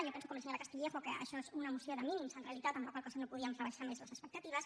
jo penso com la senyora castillejo que això és una moció de mínims en realitat amb la qual cosa no podíem rebaixar més les expectatives